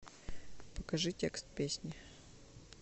покажи текст песни